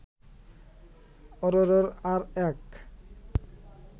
অরোরার আর এক